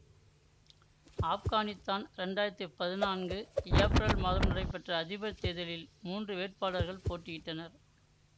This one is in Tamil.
ஆப்கானித்தான் இரண்டு ஆயிரத்தி பதினான்கு ஏப்ரல் மாதம் நடைபெற்ற அதிபர் தேர்தலில் மூன்று வேட்பாகளர்கள் போட்டியிட்டனர்